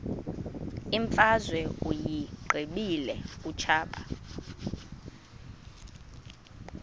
imfazwe uyiqibile utshaba